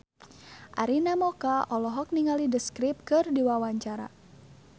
Arina Mocca olohok ningali The Script keur diwawancara